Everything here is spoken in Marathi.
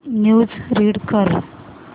न्यूज रीड कर